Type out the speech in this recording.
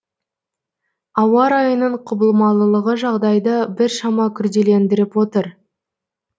ауа райының құбылмалылығы жағдайды біршама күрделендіріп отыр